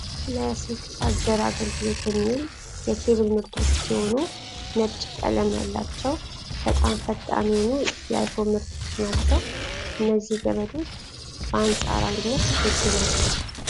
ለስልክ ቻርጀር አገልግሎት የሚል የኬብል ምርቶች ሲሆኑ ነጭ ቀለም ያላቸው በጣም ፈጣን የሆኑ የአይፎን ምርቶች ናቸው ። እነዚህ ገመዶች በአንፃራዊነት ውድ ናቸው።